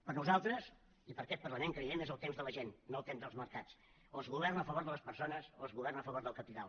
per nosaltres i per aquest parlament creiem és el temps de la gent no el temps dels mercats o es governa a favor de les persones o es governa a favor del capital